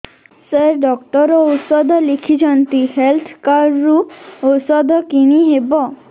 ସାର doctor ଔଷଧ ଲେଖିଛନ୍ତି health card ରୁ ଔଷଧ କିଣି ହେବ